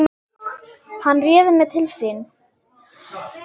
Hann réði mig til sín.